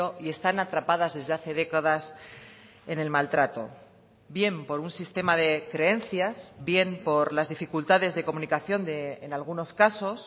y están atrapadas desde hace décadas en el maltrato bien por un sistema de creencias bien por las dificultades de comunicación en algunos casos